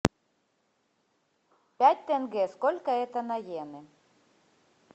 пять тенге сколько это на иены